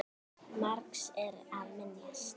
Margs er að minnast